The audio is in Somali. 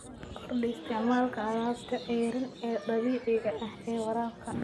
Kordhi isticmaalka alaabta ceeriin ee dabiiciga ah ee waraabka.